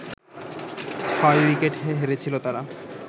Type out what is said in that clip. ছয় উইকেটে হেরেছিল তারা